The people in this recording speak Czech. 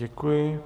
Děkuji.